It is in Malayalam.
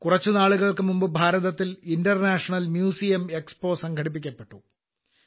കുറച്ചു നാളുകൾക്ക് മുമ്പ് ഭാരതത്തിൽ ഇന്റർനേഷണൽ മ്യൂസിയം എക്സ്പോ സംഘടിപ്പിക്കപ്പെട്ടു